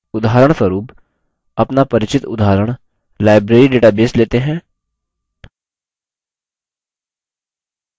उदाहरणस्वरुप अपना परिचित उदाहरण library database लेते हैं